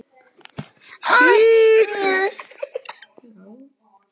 Stundum heyrðist í sellóinu, helst á kvöldin og frameftir nóttu.